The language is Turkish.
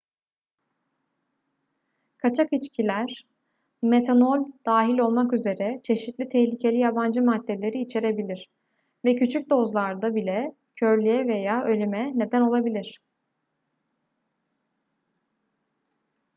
kaçak içkiler metanol dahil olmak üzere çeşitli tehlikeli yabancı maddeleri içerebilir ve küçük dozlarda bile körlüğe veya ölüme neden olabilir